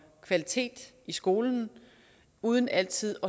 kvalitet i skolen uden altid